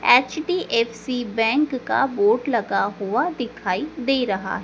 HDFC bank का board लगा हुआ दिखाई दे रहा।